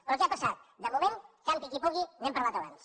però què ha passat de moment campi qui pugui n’hem parlat abans